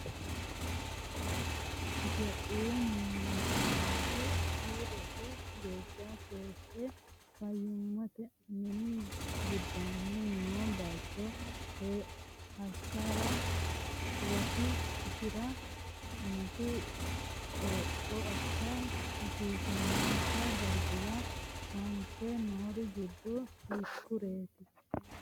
Itophiyu Malaatu Afii Roso geeshsha keeshshe fayyimmate mini giddoonni noo bayicho hashsha rosi isi’ra hanafi, Qoropho assa hasiissannonsa darguwa aante noori giddo hiikkoreeti?